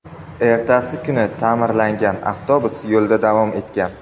Ertasi kuni ta’mirlangan avtobus yo‘lida davom etgan.